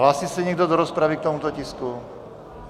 Hlásí se někdo do rozpravy k tomuto tisku?